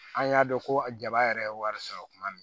An y'a dɔn ko a jaba yɛrɛ ye wari sɔrɔ kuma min